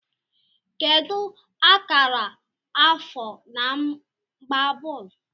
Kedu akara afọ na-agba bọọlụ